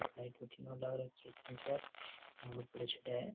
एक लाइट भटीन लाग रखी है तीन चार और उपरे चढ़े --